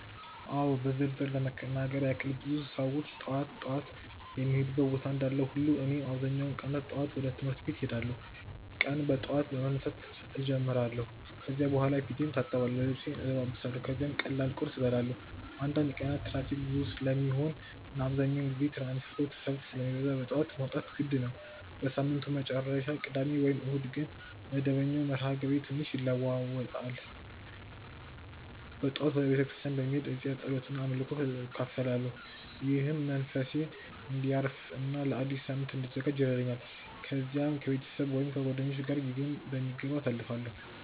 አዎ በዝርዝር ለመናገር ያክል ብዙ ሰዎች ጠዋት ጠዋት የሚሄዱበት ቦታ እንዳለ ሁሉ እኔም በአብዛኛው ቀናት ጠዋት ወደ ትምህርት ቤት እሄዳለሁ። ቀኔን በጠዋት በመነሳት እጀምራለሁ ከዚያ በኋላ ፊቴን እታጠብአለሁ፣ ልብሴን እለብሳለሁ ከዚያም ቀላል ቁርስ እበላለሁ። አንዳንድ ቀናት ትራፊክ ብዙ ስለሚሆን እና አብዛኛውን ጊዜ የትራንስፖርት ሰልፍ ስለሚበዛ በጠዋት መውጣት የግድ ነው። በሳምንቱ መጨረሻ (ቅዳሜ ወይም እሁድ) ግን መደበኛው መርሃ ግብሬ ትንሽ ይለዋዋጣል። በጠዋት ወደ ቤተ ክርስቲያን በመሄድ እዚያ ጸሎት እና አምልኮ እካፈላለሁ፣ ይህም መንፈሴን እንዲያርፍ እና ለአዲስ ሳምንት እንድዘጋጅ ይረዳኛል። ከዚያም ከቤተሰብ ወይም ከጓደኞች ጋር ጊዜዬን በሚገባ አሳልፋለሁ።